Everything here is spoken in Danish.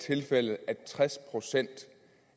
tilfældet at tres procent